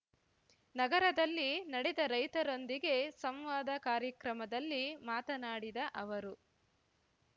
ನಗರದಲ್ಲಿ ನಡೆದ ರೈತರೊಂದಿಗೆ ಸಂವಾದ ಕಾರ್ಯಕ್ರಮದಲ್ಲಿ ಮಾತನಾಡಿದ ಅವರು